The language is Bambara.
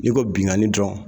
Ni ko binkanni dɔrɔn